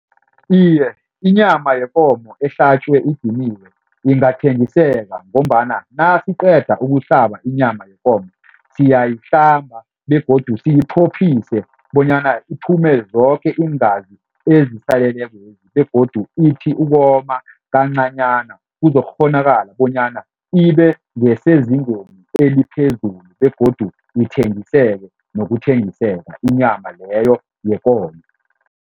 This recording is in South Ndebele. Iye, inyama yekomo ehlatjwe idiniwe ingathengiseka ngombana nasiqeda ukuhlaba inyama yekomo, siyayihlamba begodu siyiphophise bonyana iphume zoke iingazi begodu ithi ukoma kancanyana kuzokukghonakala bonyana ibe ngesezingeni eliphezulu begodu ithengiseke nokuthengiseka inyama leyo yekomo.